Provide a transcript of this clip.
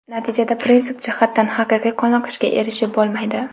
natijada prinsip jihatdan haqiqiy qoniqishga erishib bo‘lmaydi.